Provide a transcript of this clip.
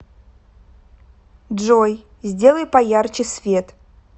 джой сделай поярче свет